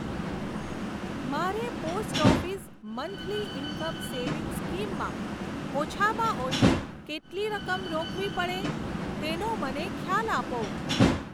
મારે post office monthly income savings scheme માં ઓછામાં ઓછી કેટલી રકમ રોકવી પડે તેનો મને ખ્યાલ આપો.